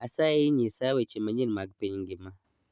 Asayi nyisa weche manyien mag piny ngima